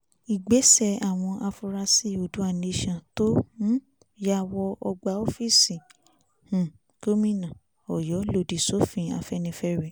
ìgbésẹ̀ àwọn afuarasí o odua nation tó um ya wọ ọgbà òòfíìsì um gomina ọ̀yọ́ lòdì sófin afẹ́nifẹ́re